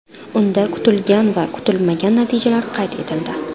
Unda kutilgan va kutilmagan natijalar qayd etildi.